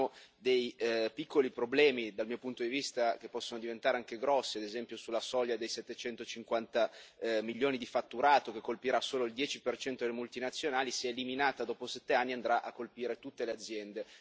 Rimangono dei piccoli problemi, dal mio punto di vista, che possono diventare anche grossi, ad esempio sulla soglia dei 750 milioni di fatturato che colpirà solo il 10 delle multinazionali, se eliminata dopo 7 anni, andrà a colpire tutte le aziende.